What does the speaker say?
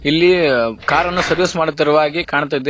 ಇಲ್ಲಿ ಕಾರ್ ನ್ನು ಸರ್ವಿಸ್ ಮಾಡುತ್ತಿರುವಾಗೆ ಕಾಣ್ತಿದೆ.